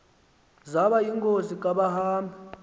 zaba yingozi kabahambi